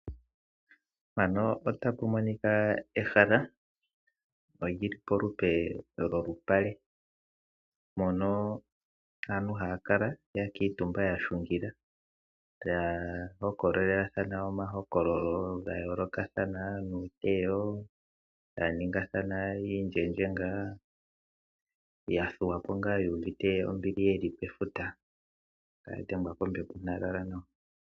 Ehala lyili polupe lwoshinyanga mpono aantu haya kala ya kuutumba yahungila. Taya hokolelathana omahokololo ga yooloka ngaashi uuteyo, taya ningi oongano ya thuwapo yuuvite ombili yeli pefuta taya dhengwa kombepo.